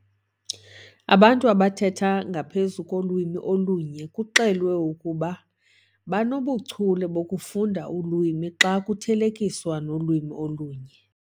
Abantu abathetha ngaphezu kolwimi olunye kuxelwe ukuba banobuchule bokufunda ulwimi xa kuthelekiswa nolwimi olunye.